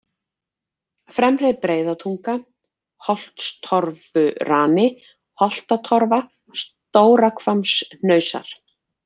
Fremri-Breiðatunga, Holtstorfurani, Holtatorfa, Stórahvammshnausar